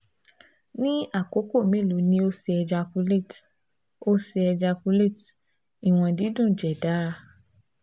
Ni akoko melo ni o ṣe ejaculate? o ṣe ejaculate? iwọn didun jẹ dara